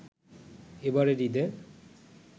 এবারের ঈদে